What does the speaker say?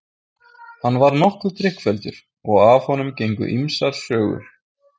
Hann var nokkuð drykkfelldur og af honum gengu ýmsar sögur.